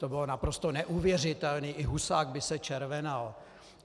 To bylo naprosto neuvěřitelné, i Husák by se červenal.